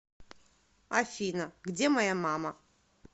афина где моя мама